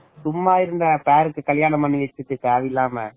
அம்மா சும்மா இருந்த கல்யாணம் பண்ணி வச்சிட்டு தேவையில்லாம